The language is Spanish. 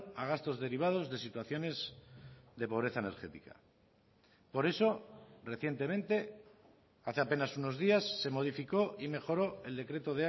a gastos derivados de situaciones de pobreza energética por eso recientemente hace apenas unos días se modificó y mejoró el decreto